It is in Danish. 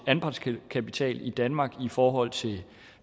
af anpartskapitalen i danmark i forhold til